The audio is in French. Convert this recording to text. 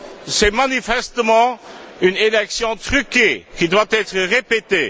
C'est manifestement une élection truquée qui doit être répétée.